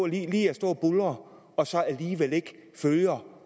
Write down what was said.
lide at stå og buldre og så alligevel ikke følger